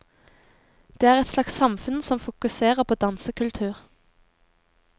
Det er et slags samfunn som fokuserer på dansekultur.